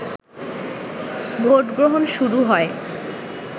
ভোটগ্রহণ শুরু হয়